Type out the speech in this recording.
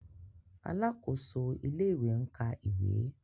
Alákòóso ilé-ìwé ń ka ìwé.